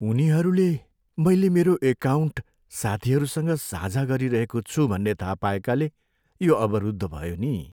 उनीहरूले मैले मेरो एकाउन्ट साथीहरूसँग साझा गरिरहेको छु भन्ने थाहा पाएकाले यो अवरुद्ध भयो नि।